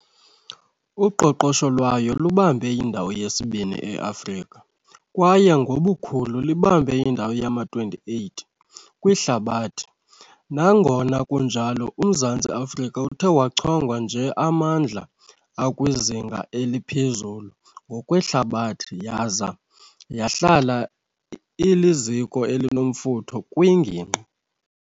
Uqoqosho lwayo lubambe indawo yesibini eAfrika, kwaye ngobukhulu libambe indawo yama-28 kwihlabathi. Nangona kunjalo, uMzantsi Afrika uthe wachongwa njeamandla akwizinga eliphezulu ngokwehlabathi, yaza yahlala iliziko elinomfutho kwingingqi.